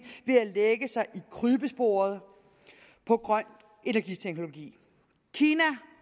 ved at lægge sig i krybesporet på grøn energiteknologi kina og